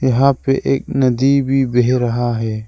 यहां पे एक नदी भी बह रहा है।